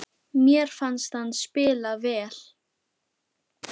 Mér fannst hann spila vel.